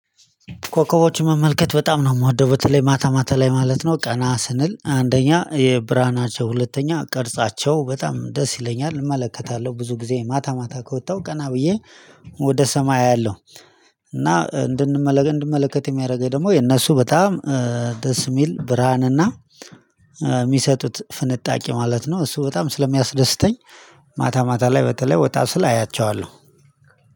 ኮከቦችን መመልከት በጣም ነው የምወደው በተለይ ማታ ማታ ላይ ማለት ነው ቀና ስንል አንደኛ የብርሃናቸው ሁለተኛ ቅርጻቸው በጣም ደስ ይለኛል እመለከታለሁ ብዙ ጊዜ ማታ ማታ ከወጣሁ ቀና ብዬ ወደ ሰማይ አያለሁ። እና እንድንመለከት እንድንመለከት የሚያደርገኝ ደግሞ የነሱ በጣም ደስ የሚል ብርሃንና የሚሰጡት ፍንጣቂ ማለት ነው። እሱ በጣም ስለሚያስደስተኝ ማታ ማታ ላይ በተለይ ወጣ ስል አያቸዋለሁ።